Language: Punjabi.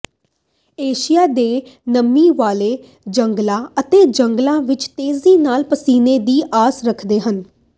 ਏਸ਼ੀਆ ਦੇ ਨਮੀ ਵਾਲੇ ਜੰਗਲਾਂ ਅਤੇ ਜੰਗਲਾਂ ਵਿਚ ਤੇਜ਼ੀ ਨਾਲ ਪਸੀਨੇ ਦੀ ਆਸ ਰੱਖਦੇ ਹਨ